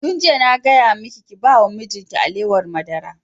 Tun jiya na gaya maki ki ba wa mijin ki alewar madara!